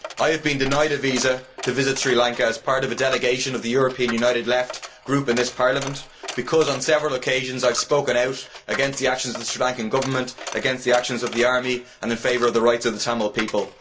I have been denied a visa to visit Sri Lanka as part of a delegation of the European United Left Group in this Parliament because on several occasions I have spoken out against the actions of the Sri Lankan Government, against the actions of the army and in favour of the rights of the Tamil people.